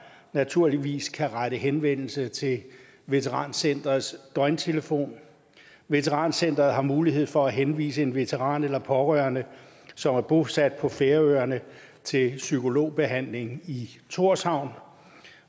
naturligvis kan rette henvendelse til veterancenterets døgntelefon veterancenteret har mulighed for at henvise en veteran eller pårørende som er bosat på færøerne til psykologbehandling i thorshavn